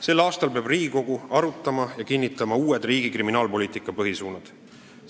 Sel aastal peab Riigikogu arutama uusi riigi kriminaalpoliitika põhisuundi ning need kinnitama.